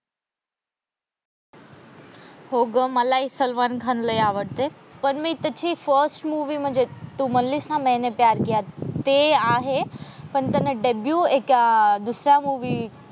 हो ग मला हि सलमान खान लय आवडते पण मी त्याची फर्स्ट मूवी म्हणजे तू म्हणालीस ना मैंने प्यार किया ते आहे पण त्याने एक दुसऱ्या मूवी